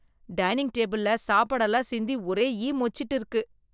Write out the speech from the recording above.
Dining டேபிள்ல சாப்பாடு எல்லாம் சிந்தி ஒரே ஈ மொச்சிகிட்டு இருக்கு.